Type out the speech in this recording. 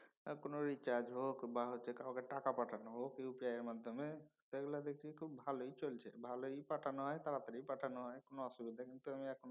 আর কোনও recharge হোক বা কাউকে টাকা পাঠানো হোক UPI এর মাধ্যমে সেগুলা দেখি খুব ভালই চলছে। ভালই পাঠানো হয় তাড়াতাড়ি পাঠানো হয় কোনও অসুবিধা কিন্তু আমি এখনও।